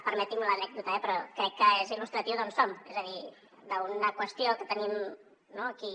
permeti’m l’anècdota eh però crec que és il·lustratiu d’on som és a dir d’una qüestió que tenim no aquí